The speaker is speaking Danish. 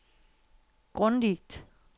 grundigt